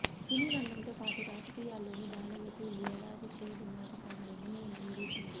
సినీరంగంతో పాటు రాజకీయాల్లోనూ బాలయ్యకు ఈ ఏడాది చేదు జ్ఞాపకాలనే మిగిల్చింది